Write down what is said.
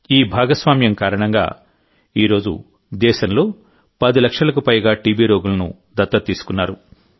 ఈ భాగస్వామ్యం కారణంగానేడు దేశంలో 10 లక్షలకు పైగా టీబీ రోగులను దత్తత తీసుకున్నారు